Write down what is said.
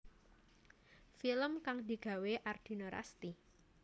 Film kang digawé Ardina Rasti